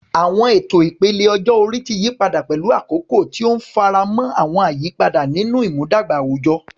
Àwọn ètò ìpele ọjọ́ orí ti yí padà pẹ̀lú àkókò, tí ó ń faramọ́ àwọn àyípadà nínú ìmúdàgba àwùjọ.